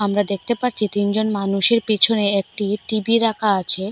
আমরা দেখতে পারছি তিনজন মানুষের পিছনে একটি টি_ভি রাখা আছে।